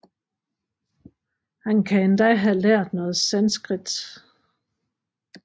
Han kan endda have lært noget sanskrit